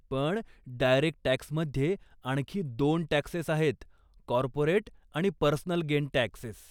पण, डायरेक्ट टॅक्समध्ये आणखी दोन टॅक्सेस आहेत, कॉर्पोरेट आणि पर्सनल गेन टॅक्सेस.